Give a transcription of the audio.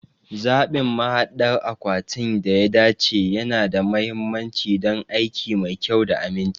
Zaɓin mahaɗdar akwatin da ya dace yana da mahimmanci don aiki mai kyau da aminci.